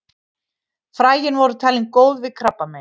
Fræin voru talin góð við krabbameini.